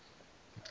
zwa do ita uri hu